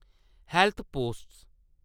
health post